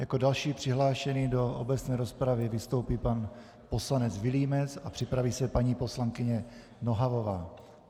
Jako další přihlášený do obecné rozpravy vystoupí pan poslanec Vilímec a připraví se paní poslankyně Nohavová.